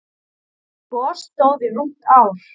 Það gos stóð í rúmt ár.